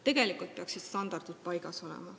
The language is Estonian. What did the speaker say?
Standardid peaksid paigas olema.